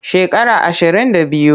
Shekara ashirin da biyu.